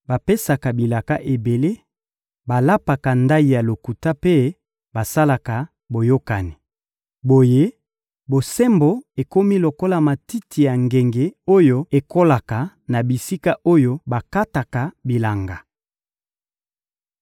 Bapesaka bilaka ebele, balapaka ndayi ya lokuta mpe basalaka boyokani. Boye, bosembo ekomi lokola matiti ya ngenge oyo ekolaka na bisika oyo bakataka bilanga.